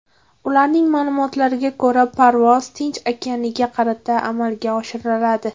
Ularning ma’lumotlariga ko‘ra, parvoz Tinch okeaniga qarata amalga oshiriladi.